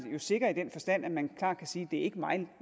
sikker i den forstand at man klart kan sige det er ikke mig